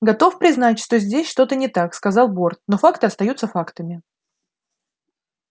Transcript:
готов признать что здесь что-то не так сказал борт но факты остаются фактами